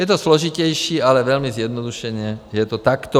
Je to složitější, ale velmi zjednodušeně je to takto.